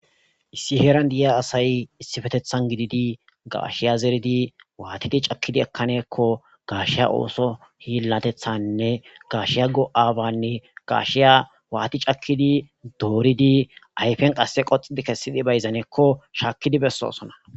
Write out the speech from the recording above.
Issi heeran di'iya asay issifetethan gididi gaashiya zeridi waatidi cakkidi ekkaneekko gaashiya ooso hiillatethanne gashiyago'aabanne gaashiya waati cakkidi dooridi ayfen qasse qoxidi kessidi bayzaneekko shaakkidi bessosona